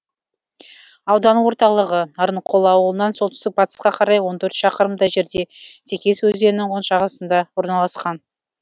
аудан орталығы нарынқол ауылынан солтүстік батысқа қарай он төрт шақырымдай жерде текес өзенінің оң жағасында орналасқан